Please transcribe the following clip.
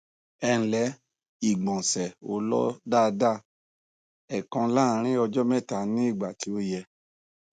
ẹǹlẹ ìgbọnsẹ ò lọ daada èèkan láàárín ọjọ mẹta ní ìgbà tí ò yẹ